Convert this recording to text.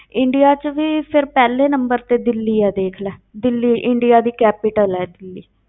India ਵਿੱਚ ਵੀ ਫਿਰ ਪਹਿਲੇ number ਤੇ ਦਿੱਲੀ ਹੈ ਦੇਖ ਲੈ, ਦਿੱਲੀ ਇੰਡੀਆ ਦੀ capital ਹੈ ਦਿੱਲੀ।